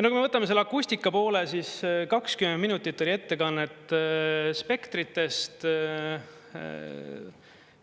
Kui me võtame selle akustika poole, siis 20 minutit oli ettekannet spektritest,